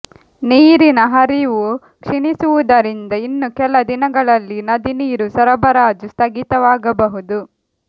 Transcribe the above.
ನೀರಿನ ಹರಿವು ಕ್ಷೀಣಿಸಿರುವುದರಿಂದ ಇನ್ನು ಕೆಲ ದಿನಗಳಲ್ಲಿ ನದಿ ನೀರು ಸರಬರಾಜು ಸ್ಥಗಿತವಾಗಬಹುದು